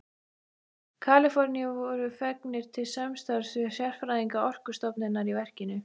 Kaliforníu voru fengnir til samstarfs við sérfræðinga Orkustofnunar í verkinu.